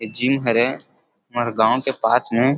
ए gym हरे हमर गाँव के पास में --